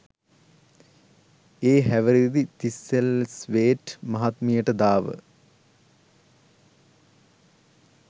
ඒ හැවිරිදි තිස්සල්ස්වේට් මහත්මියට දාව